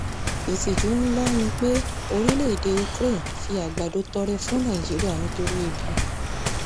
ìtìjú ńlá ni pé orílẹ̀‐èdè ukraine fi àgbàdo tọrẹ fún nàìjíríà nítorí ebi